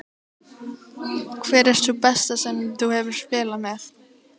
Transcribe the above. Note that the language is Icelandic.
Hver er sú besta sem þú hefur spilað með?